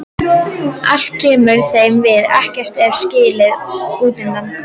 Allt kemur þeim við, ekkert er skilið útundan.